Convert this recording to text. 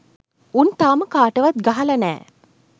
උන් තාම කාටවත් ගහල නෑ